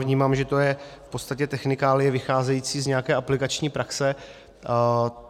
Vnímám, že to je v podstatě technikálie vycházející z nějaké aplikační praxe.